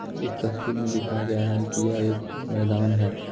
इस तस्वीर में दिखाया गया है कि यह एक मैदान है।